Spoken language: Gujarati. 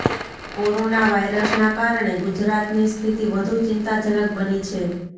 કોરોના વાયરસના કારણે ગુજરાતની સ્થિતી વધુ ચિંતાજનક બની છે